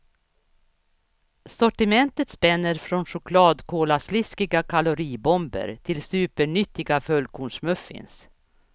Sortimentet spänner från chokladkolasliskiga kaloribomber till supernyttiga fullkornsmuffins.